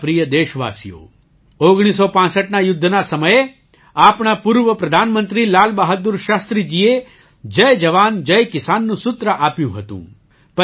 મારા પ્રિય દેશવાસીઓ ૧૯૬૫ના યુદ્ધના સમયે આપણા પૂર્વ પ્રધાનમંત્રી લાલબહાદુર શાસ્ત્રીજીએ જય જવાન જય કિસાનનું સૂત્ર આપ્યું હતું